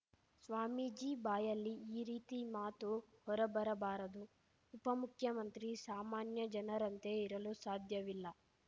ಸ್ವಾಮೀಜಿ ಬಾಯಲ್ಲಿ ಈ ರೀತಿ ಮಾತು ಹೊರಬರಬಾರದು ಉಪಮುಖ್ಯಮಂತ್ರಿ ಸಾಮಾನ್ಯ ಜನರಂತೆ ಇರಲು ಸಾಧ್ಯವಿಲ್ಲ